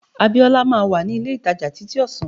Abiola will be at the mall by noon